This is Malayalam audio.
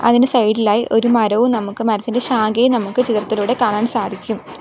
ഇതിനു സൈഡ് ലായി ഒരു മരവും നമുക്ക് മരത്തിന്റെ ശാഖയും നമുക്ക് ചിത്രത്തിലൂടെ കാണാൻ സാധിക്കും.